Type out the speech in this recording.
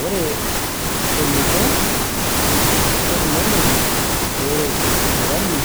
Ore eniko technology peret sirkali